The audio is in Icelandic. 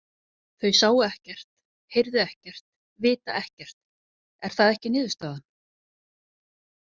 Þau sáu ekkert, heyrðu ekkert, vita ekkert, er það ekki niðurstaðan?